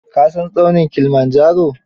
Ka san tsaunin kilimanjaro?